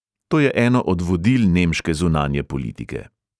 To je eno od vodil nemške zunanje politike.